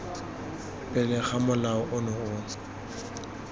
pele ga molao ono o